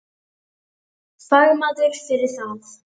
Fagmaður fyrir það.